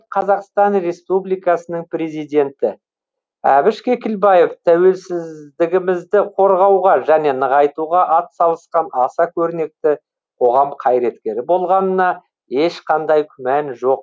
қазақстан республикасының президенті әбіш кекілбаев тәуелсіз дігімізді қорғауға және нығайтуға атсалысқан аса көрнекті қоғам қайреткері болғанына ешқандай күмән жоқ